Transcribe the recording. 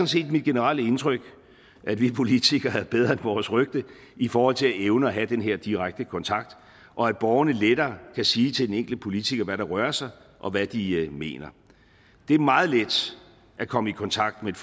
set mit generelle indtryk at vi politikere er bedre end vores rygte i forhold til at evne at have den her direkte kontakt og at borgerne lettere kan sige til den enkelte politiker hvad der rører sig og hvad de mener det er meget let at komme i kontakt med et